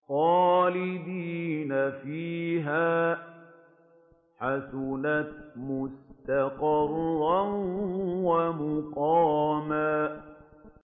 خَالِدِينَ فِيهَا ۚ حَسُنَتْ مُسْتَقَرًّا وَمُقَامًا